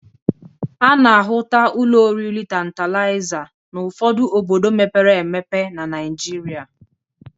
A na-ahụta ụlọ oriri Tantalịza n'ọfụdụ obodo mepere emepe na Naịjịrịa.